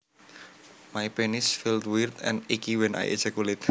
My penis feels weird and icky when I ejaculate